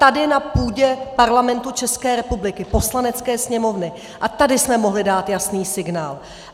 Tady na půdě Parlamentu České republiky, Poslanecké sněmovny, a tady jsme mohli dát jasný signál!